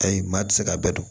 Ayi maa tɛ se k'a bɛɛ dɔn